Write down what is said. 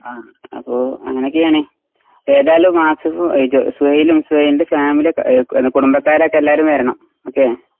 അപ്പോ അങ്ങനൊക്കെയാണ്. ഏതാലും ആസിഫ് ഏയ് ജോ സുഹൈലും സുഹൈലിൻ്റെ ഫാമിലിയൊക്കെ ഏഹ് എന്ന കുടുംബക്കാരൊക്കെല്ലാരും വെരണം ഓക്കേ?